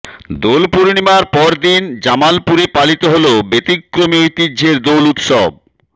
দোল পূর্ণিমার পরদিন জামালপুরে পালিত হল ব্যতিক্রমী ঐতিহ্যের দোল উৎসব